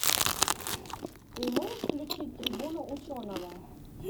ты можешь включить трибуну ученого